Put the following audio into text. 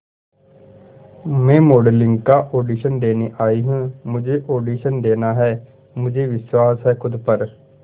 मैं मॉडलिंग का ऑडिशन देने आई हूं मुझे ऑडिशन देना है मुझे विश्वास है खुद पर